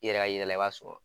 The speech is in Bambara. I yɛrɛ y'a yira i la i b'a sɔrɔ